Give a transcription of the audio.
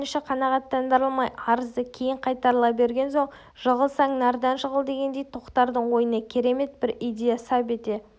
өтініші қанағаттандырылмай арызы кейін қайтарыла берген соң жығылсаң нардан жығыл дегендей тоқтардың ойына керемет бір идея сап ете